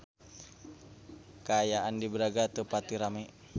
Kaayaan di Braga teu pati rame